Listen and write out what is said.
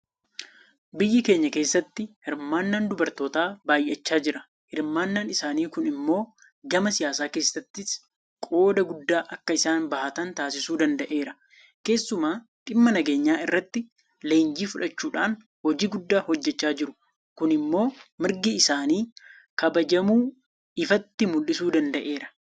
Biyya keenya keessatti hirmaannaan dubartootaa baay'achaa jira. Hirmaannaan isaanii kun immoo gama siyaasaa keessattis qooda guddaa akka isaan bahatan taasisuu danda'eera. Keessumaa dhimma nageenyaa irratti leenjii fudhachuudhaan hojii guddaa hojjechaa jiru. Kun immoo mirgi isaanii kabajamuu ifatti mul'isuu danda'eera.